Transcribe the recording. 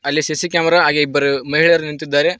ಅಲ್ಲಿ C C camera ಹಾಗೆ ಇಬ್ಬರು ಮಹಿಳೆಯರು ನಿಂತಿದ್ದಾರೆ.